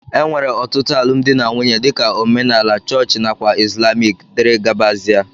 enwere otụtu alụmdi na nwunye dika: omenala, chọọch nakwa islamic. dgz